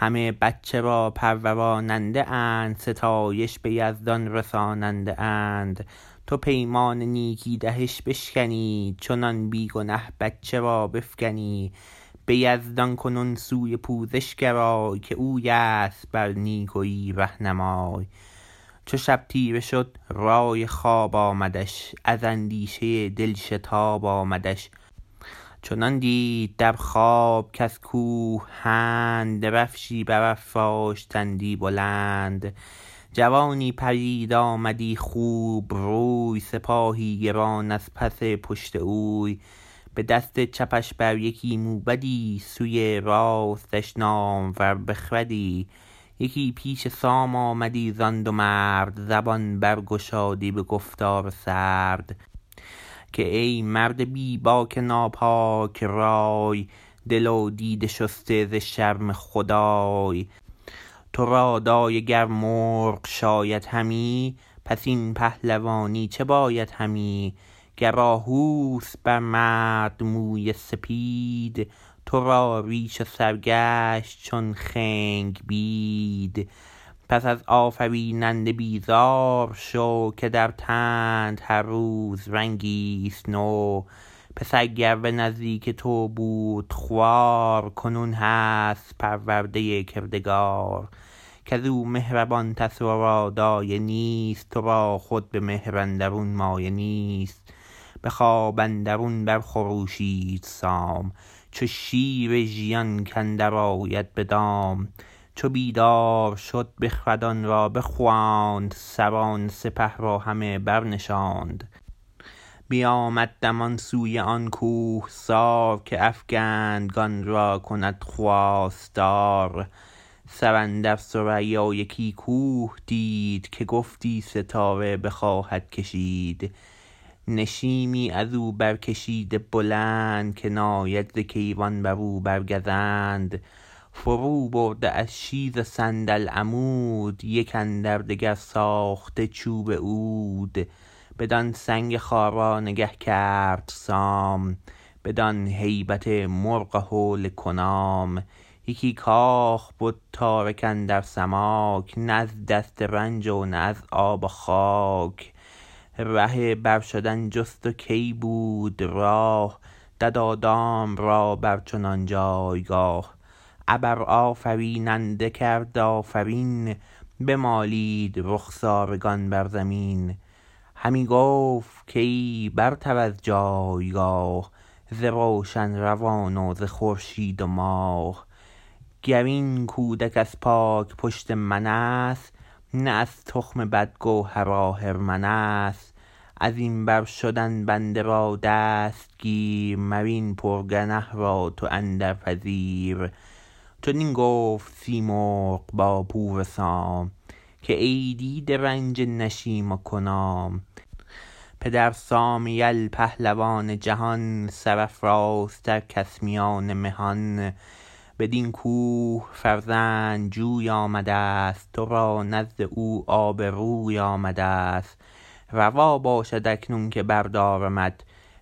همه بچه را پروراننده اند ستایش به یزدان رساننده اند تو پیمان نیکی دهش بشکنی چنان بی گنه بچه را بفگنی به یزدان کنون سوی پوزش گرای که اوی است بر نیکویی رهنمای چو شب تیره شد رای خواب آمدش از اندیشه دل شتاب آمدش چنان دید در خواب کز کوه هند درفشی برافراشتندی بلند جوانی پدید آمدی خوب روی سپاهی گران از پس پشت اوی به دست چپش بر یکی موبدی سوی راستش نامور بخردی یکی پیش سام آمدی زان دو مرد زبان بر گشادی به گفتار سرد که ای مرد بی باک ناپاک رای دل و دیده شسته ز شرم خدای تو را دایه گر مرغ شاید همی پس این پهلوانی چه باید همی گر آهو است بر مرد موی سپید تو را ریش و سر گشت چون خنگ بید پس از آفریننده بیزار شو که در تنت هر روز رنگی ست نو پسر گر به نزدیک تو بود خوار کنون هست پرورده کردگار کز او مهربان تر ورا دایه نیست تو را خود به مهر اندرون مایه نیست به خواب اندرون بر خروشید سام چو شیر ژیان کاندر آید به دام چو بیدار شد بخردان را بخواند سران سپه را همه برنشاند بیامد دمان سوی آن کوهسار که افگندگان را کند خواستار سر اندر ثریا یکی کوه دید که گفتی ستاره بخواهد کشید نشیمی از او برکشیده بلند که ناید ز کیوان بر او بر گزند فرو برده از شیز و صندل عمود یک اندر دگر ساخته چوب عود بدان سنگ خارا نگه کرد سام بدان هیبت مرغ و هول کنام یکی کاخ بد تارک اندر سماک نه از دست رنج و نه از آب و خاک ره بر شدن جست و کی بود راه دد و دام را بر چنان جایگاه ابر آفریننده کرد آفرین بمالید رخسارگان بر زمین همی گفت کای برتر از جایگاه ز روشن روان و ز خورشید و ماه گر این کودک از پاک پشت من است نه از تخم بد گوهر آهرمن است از این بر شدن بنده را دست گیر مر این پر گنه را تو اندر پذیر چنین گفت سیمرغ با پور سام که ای دیده رنج نشیم و کنام پدر سام یل پهلوان جهان سرافرازتر کس میان مهان بدین کوه فرزند جوی آمدست تو را نزد او آب روی آمدست روا باشد اکنون که بردارمت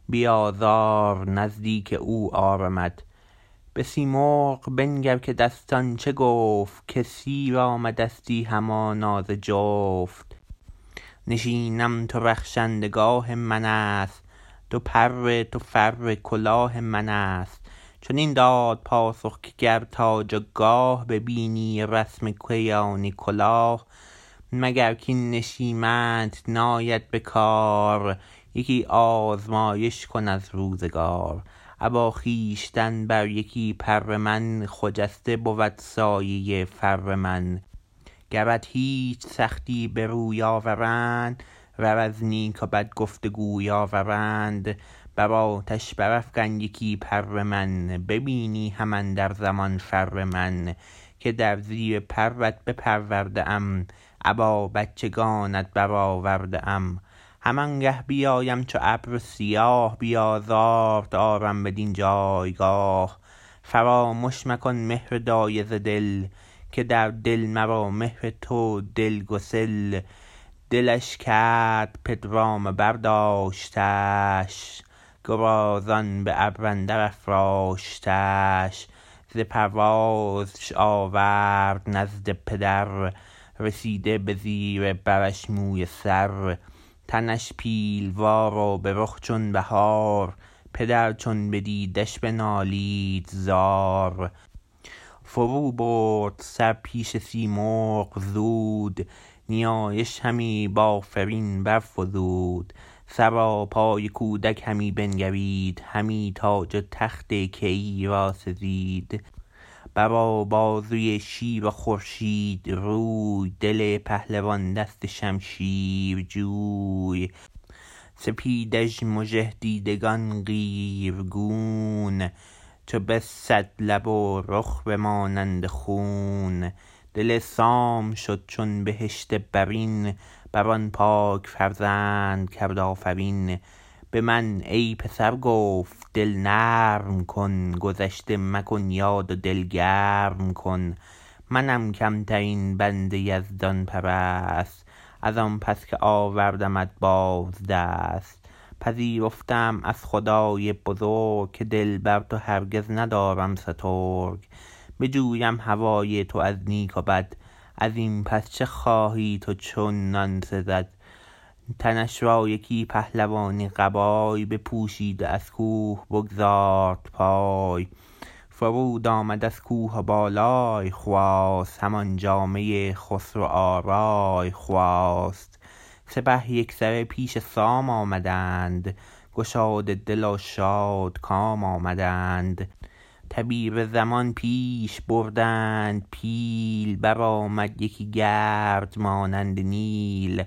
بی آزار نزدیک او آرمت به سیمرغ بنگر که دستان چه گفت که سیر آمدستی همانا ز جفت نشیم تو رخشنده گاه من است دو پر تو فر کلاه من است چنین داد پاسخ که گر تاج و گاه ببینی و رسم کیانی کلاه مگر کاین نشیمت نیاید به کار یکی آزمایش کن از روزگار ابا خویشتن بر یکی پر من خجسته بود سایه فر من گرت هیچ سختی به روی آورند ور از نیک و بد گفت و گوی آورند بر آتش برافگن یکی پر من ببینی هم اندر زمان فر من که در زیر پرت بپرورده ام ابا بچگانت برآورده ام همان گه بیایم چو ابر سیاه بی آزارت آرم بدین جایگاه فرامش مکن مهر دایه ز دل که در دل مرا مهر تو دلگسل دلش کرد پدرام و برداشتش گرازان به ابر اندر افراشتش ز پروازش آورد نزد پدر رسیده به زیر برش موی سر تنش پیلوار و به رخ چون بهار پدر چون بدیدش بنالید زار فرو برد سر پیش سیمرغ زود نیایش همی بآفرین برفزود سراپای کودک همی بنگرید همی تاج و تخت کیی را سزید بر و بازوی شیر و خورشید روی دل پهلوان دست شمشیر جوی سپیدش مژه دیدگان قیرگون چو بسد لب و رخ به مانند خون دل سام شد چون بهشت برین بر آن پاک فرزند کرد آفرین به من ای پسر گفت دل نرم کن گذشته مکن یاد و دل گرم کن منم کم ترین بنده یزدان پرست از آن پس که آوردمت باز دست پذیرفته ام از خدای بزرگ که دل بر تو هرگز ندارم سترگ بجویم هوای تو از نیک و بد از این پس چه خواهی تو چونان سزد تنش را یکی پهلوانی قبای بپوشید و از کوه بگزارد پای فرود آمد از کوه و بالای خواست همان جامه خسرو آرای خواست سپه یک سره پیش سام آمدند گشاده دل و شادکام آمدند تبیره زنان پیش بردند پیل برآمد یکی گرد مانند نیل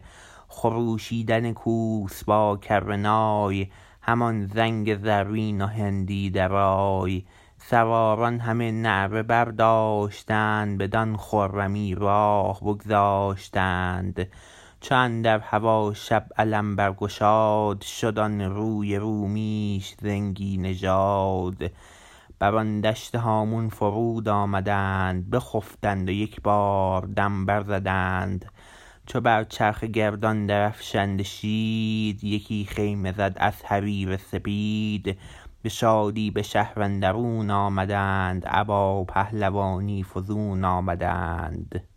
خروشیدن کوس با کره نای همان زنگ زرین و هندی درای سواران همه نعره برداشتند بدان خرمی راه بگذاشتند چو اندر هوا شب علم برگشاد شد آن روی رومیش زنگی نژاد بر آن دشت هامون فرود آمدند بخفتند و یکبار دم بر زدند چو بر چرخ گردان درفشنده شید یکی خیمه زد از حریر سپید به شادی به شهر اندرون آمدند ابا پهلوانی فزون آمدند